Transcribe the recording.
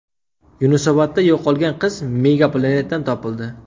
Yunusobodda yo‘qolgan qiz Mega Planet’dan topildi.